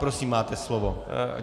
Prosím, máte slovo.